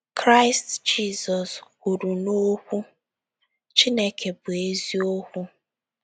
Kraịst Jizọs kwuru na Okwu Chineke bụ eziokwu.